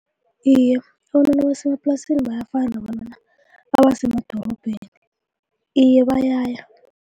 Iye, abantwana basemaplasini bayafana nabantwana abasemadorobheni iye bayaya.